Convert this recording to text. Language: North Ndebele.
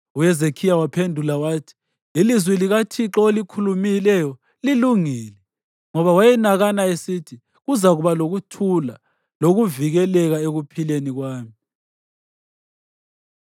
UHezekhiya waphendula wathi, “Ilizwi likaThixo olikhulumileyo lilungile.” Ngoba wayenakana esithi, “Kuzakuba lokuthula lokuvikeleka ekuphileni kwami.”